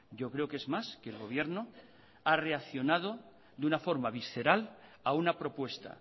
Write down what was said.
yo creo que es más que el gobierno ha reaccionado de una forma visceral a una propuesta